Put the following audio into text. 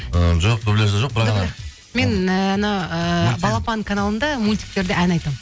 і жоқ дубляжда жоқ мен і анау ііі балапан каналында мультиктерде ән айтамын